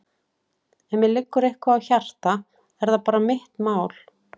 Ef mér liggur eitthvað á hjarta er það bara mitt mál.